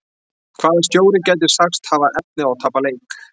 Hvaða stjóri gæti sagst hafa efni á að tapa leik?